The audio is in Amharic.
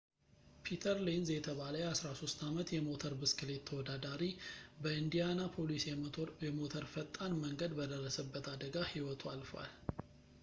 ፒተር ሌንዝ የተባለ የ 13 ዓመት የሞተር ብስክሌት ተወዳዳሪ በኢንዲያናፖሊስ የሞተር ፈጣን መንገድ በደረሰበት አደጋ ህይወቱ አልፏል